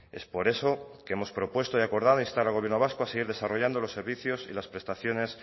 es por eso que hemos propuesto y acordado instar al gobierno vasco a seguir desarrollando los servicios y las prestaciones